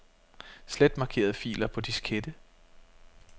Slet markerede filer på diskette.